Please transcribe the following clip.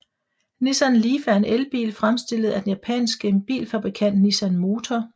Nissan Leaf er en elbil fremstillet af den japanske bilfabrikant Nissan Motor